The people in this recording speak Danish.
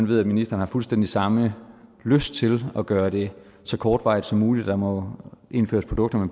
ved at ministeren har fuldstændig samme lyst til at gøre det så kortvarigt som muligt at der må indføres produkter med